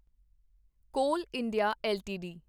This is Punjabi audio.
ਕੋਲ ਇੰਡੀਆ ਐੱਲਟੀਡੀ